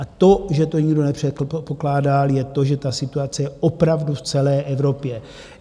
A to, že to nikdo nepředpokládal, je to, že ta situace je opravdu v celé Evropě.